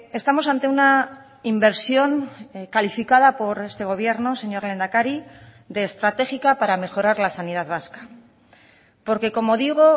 estamos ante una inversión calificada por este gobierno señor lehendakari de estratégica para mejorar la sanidad vasca porque como digo